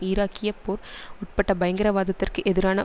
ஈராக்கிய போர் உட்பட பயங்கரவாதத்திற்கு எதிரான